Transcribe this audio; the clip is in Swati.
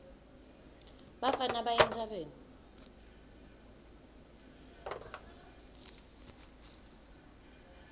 bafana baya entsabeni